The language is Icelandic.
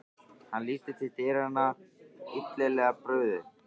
Hann lítur til dyranna, illilega brugðið.